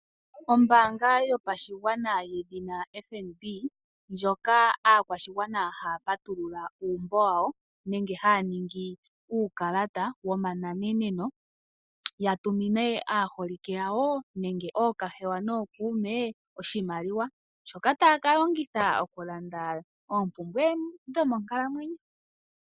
Ombaanga yopashigwana yedhina FNB ndjoka aakwashigwana haya patulula uumbo wawo nenge haya ningi uukalata wokunana ya tumine aaholike yawo nenge ookahewa nookuume oshimaliwa shoka taya ka longitha okulanda oompumbwe dho monkalamwenyo.